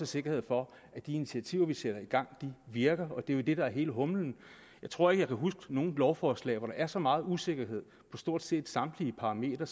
sikkerhed for at de initiativer vi sætter i gang virker og det er jo det der er hele humlen jeg tror ikke at jeg kan huske noget lovforslag hvori er så meget usikkerhed på stort set samtlige parametre